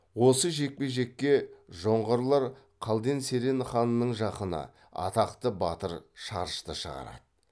осы жекпе жекке жоңғарлар қалден серен ханының жақыны атақты батыр шарышты шығарады